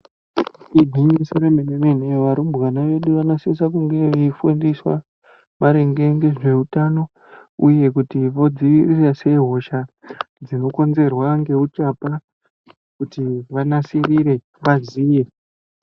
Igwinyiso remene-mene varumbwana vedu vanosise kunge veifundiswa, maringe ngezveutano, uye kuti vodzivirira sei hosha dzinokonzerwa ngeuchapa, kuti vanasirire ,vaziye.